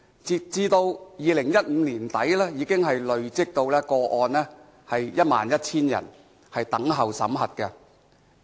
截止2015年年底，累積 11,000 宗個案等候審核。